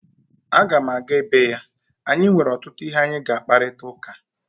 A ga'm-aga ebe ya anyị nwere ọtụtụ ihe anyị ga-akparịta ụka